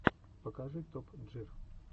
покажи топ джир